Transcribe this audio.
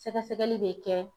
Sɛgɛsɛgɛli be kɛ